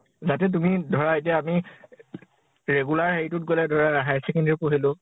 যাতে তুমি । ধৰা এতিয়া আমি regular হেৰি তোত গʼলে ধৰা higher secondary ও পঢ়িলো ।